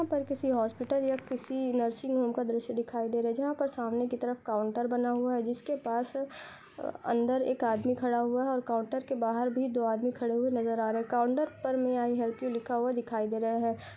यहां पर किसी हॉस्पिटल या किसी नर्सिंग होम का दृश्य दिखाई दे रहा है जहां पर सामने की तरफ काउंटर बना हुआ है जिसके पास अंदर एक आदमी खड़ा हुआ है और काउंटर के बाहर भी दो आदमी खड़े हुए नजर आ रहे हैं। काउंटर पर मे आई हेल्प यू लिखा हुआ दिखाई दे रहा है।